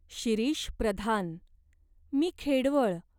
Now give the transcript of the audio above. शिरीष प्रधान. मी खेडवळ.